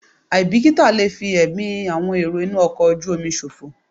Àìbìkítà lè fi ẹ̀mí àwọn èrò inú ọkọ̀ ojú omi ṣòfò.